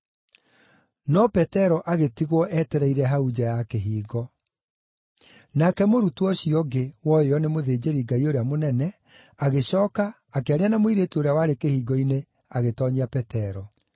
No Petero agĩtigwo etereire hau nja ya kĩhingo. Nake mũrutwo ũcio ũngĩ, woĩo nĩ mũthĩnjĩri-Ngai ũrĩa mũnene, agĩcooka, akĩaria na mũirĩtu ũrĩa warĩ kĩhingo-inĩ agĩtoonyia Petero.